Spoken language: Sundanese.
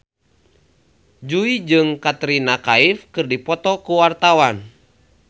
Jui jeung Katrina Kaif keur dipoto ku wartawan